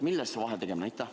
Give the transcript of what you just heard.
Millest see vahetegemine?